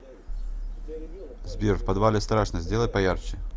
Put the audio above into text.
сбер в подвале страшно сделай поярче